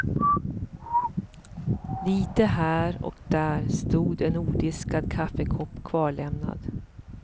Lite här och där stod en odiskad kaffekopp kvarlämnad.